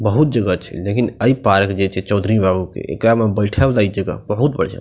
बहुत जगह छै लेकिन ए पार्क जे छै चौधरी बाबू के एकरा में बैठे वला इ जगह बहुत बढ़िया --